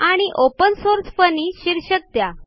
आणि open source funny शीर्षक द्या